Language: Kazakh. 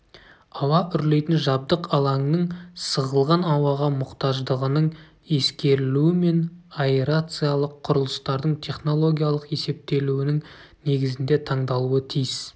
ауа үрлейтін жабдық алаңның сығылған ауаға мұқтаждығының ескерілуімен аэрациялық құрылыстардың технологиялық есептелуінің негізінде таңдалуы тиіс